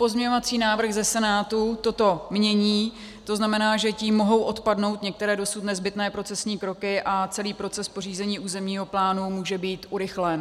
Pozměňovací návrh ze Senátu toto mění, to znamená, že tím mohou odpadnout některé dosud nezbytné procesní kroky a celý proces pořízení územního plánu může být urychlen.